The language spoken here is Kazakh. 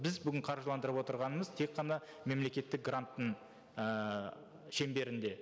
біз бүгін қаржыландырып отырғанымыз тек қана мемлекеттік гранттың ыыы шеңберінде